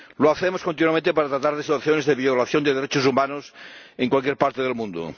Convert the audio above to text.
Lo hacemos continuamente para tratar de resoluciones sobre violación de derechos humanos en cualquier parte del mundo.